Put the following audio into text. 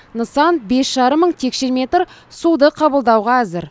нысан бес жарым мың текше метр суды қабылдауға әзір